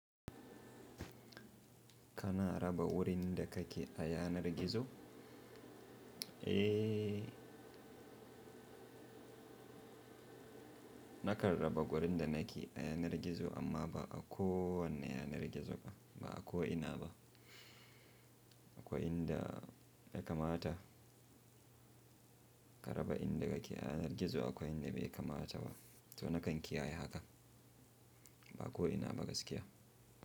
Kana raba wurin da kake a yanar gizo? Eh, na kan raba wurin da nake a yanar gizo amma ba a ko wanne yanar gizo ba. Ba a ko'ina ba. Akwai inda ya kamata ka raba, inda yake a yanar gizo akwai inda bai kamata ba. To na kan kiyaye haka. Ba ko'ina ba gaskiya.